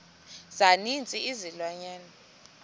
za ninzi izilwanyana